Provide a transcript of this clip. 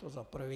To za prvé.